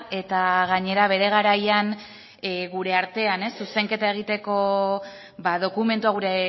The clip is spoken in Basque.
eta gainera bere garaian gure artean zuzenketa egiteko ba dokumentua gure